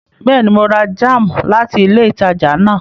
Bẹẹni, Mo rà jam láti ilé ìtàjà náà